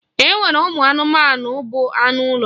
E nwere ụmụ anụmanụ bụ anụ ụlọ.